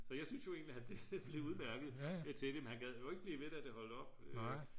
så jeg synes jo egentlig han blev udmærket til det men han gad ikke blive ved da det holdt op